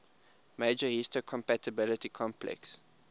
major histocompatibility complex